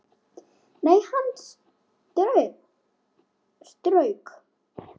Nei, hann strauk